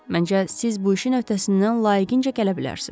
Məncə, siz bu işin öhdəsindən layiqincə gələ bilərsiz.